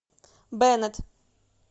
беннет